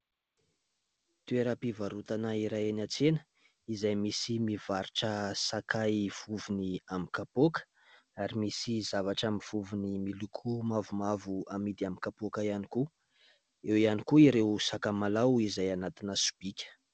Toeram-pivarotana iray any an-tsena izay misy mivarotra sakay vovony amin'ny kapoaka ary misy zavatra amin'ny vovony miloko mavomavo amidy amin'ny kapoaka ihany koa, eo iany koa ireo sakamalao izay anatina sobika.